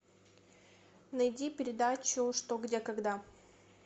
найди передачу что где когда